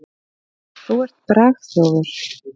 Þú ert bragþjófur.